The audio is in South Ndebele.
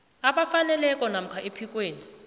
abafaneleko namkha ephikweni